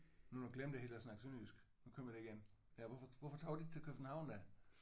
Nu glemte jeg helt at snakke sønderjysk. Nu kommer det igen. Ja hvorfor hvorfor tog du ikke til København da?